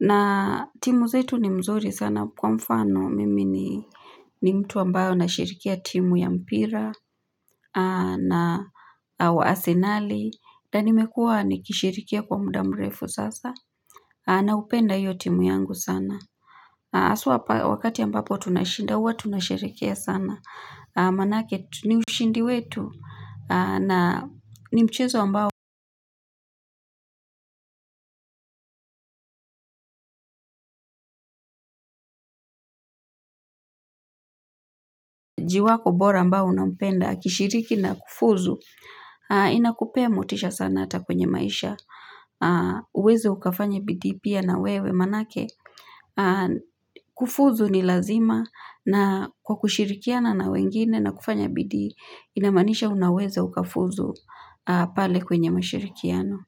Na timu zetu ni mzuri sana kwa mfano mimi ni ni mtu ambayo na shirikia timu ya mpira na wa asenali. Na nimekuwa ni kishirikia kwa mudamrefu sasa. Na upenda hiyo timu yangu sana. Aswa wakati ambapo tunashinda uwa tunasherekea sana. Manake ni ushindi wetu na nimchezo mbao, jiwako bora ambao unampenda, akishiriki na kufuzu, inakupe motisha sana hata kwenye maisha. Uweze ukafanye bidii pia na wewe maanake, kufuzu ni lazima na kwa kushirikiana na wengine na kufanya bidii, inamaanisha unaweze ukafuzu pale kwenye mashirikiano.